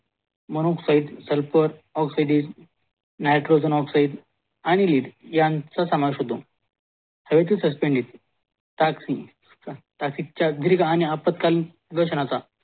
mono oxide, sulphur oxide, nitrogen oxide आणि lead चा समावेश होतो हेतूसुसपेंडीड ताक्सि आपात्कालीन